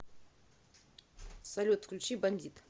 салют включи бандит